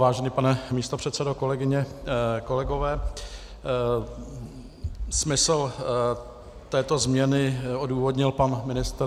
Vážený pane místopředsedo, kolegyně, kolegové, smysl této změny odůvodnil pan ministr.